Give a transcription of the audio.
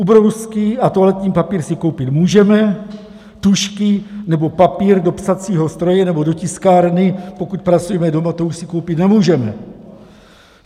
Ubrousky a toaletní papír si koupit můžeme, tužky nebo papír do psacího stroje nebo do tiskárny, pokud pracujeme doma, to už si koupit nemůžeme.